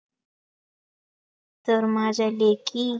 तर माझ्या देखी